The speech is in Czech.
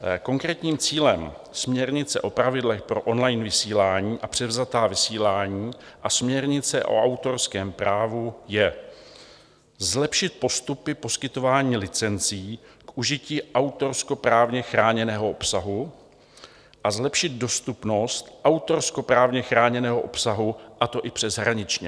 Konkrétním cílem směrnice o pravidlech pro on-line vysílání a převzatá vysílání a směrnice o autorském právu je zlepšit postupy poskytování licencí k užití autorskoprávně chráněného obsahu a zlepšit dostupnost autorskoprávně chráněného obsahu, a to i přeshraničně.